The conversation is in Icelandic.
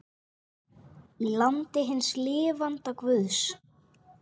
Í landi hins lifanda guðs.